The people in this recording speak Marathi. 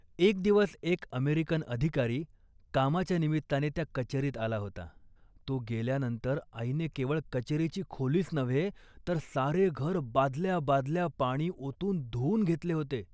एक दिवस एक अमेरिकन अधिकारी कामाच्या निमित्ताने त्या कचेरीत आला होता. तो गेल्यानंतर आईने केवळ कचेरीची खोलीच नव्हे, तर सारे घर बादल्या बादल्या पाणी ओतून धुऊन घेतले होते